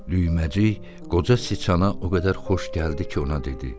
Düyməcik qoca çıçana o qədər xoş gəldi ki, ona dedi: